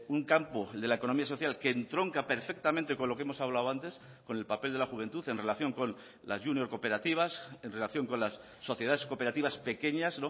un campo el de la economía social que entronca perfectamente con lo que hemos hablado antes con el papel de la juventud en relación con las junior cooperativas en relación con las sociedades cooperativas pequeñas